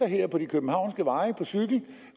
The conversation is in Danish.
her på de københavnske veje